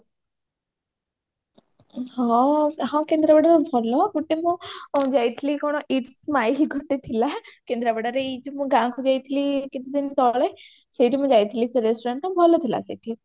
ହଁ ହଁ କେନ୍ଦ୍ରାପଡାରେ ଭଲ ଗୋଟେ ମୁଁ ଯାଇଥିଲି କଣ its smile ଗୋଟେ ଥିଲା କେନ୍ଦ୍ରାପଡାରେ ଏଇ ଯୋଉ ମୁଁ ଗାଁକୁ ଯାଇଥିଲି ଏଇ କେତେ ଦିନ ତଳେ ସେଇଠି ମୁଁ ଯାଇଥିଲି ସେ restaurant ଟା ଭଲ ଥିଲା ସେଠି